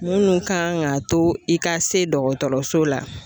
Minnu kan ka to i ka se dɔgɔtɔrɔso la.